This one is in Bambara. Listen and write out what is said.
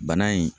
Bana in